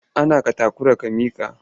A nan ka takura? ka mike!